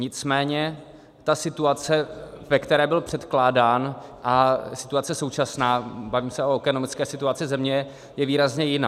Nicméně ta situace, ve které byl předkládán, a situace současná - bavíme se o ekonomické situaci země - je výrazně jiná.